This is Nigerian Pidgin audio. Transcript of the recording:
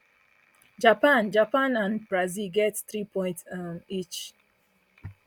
japan japan and brazil get three points um each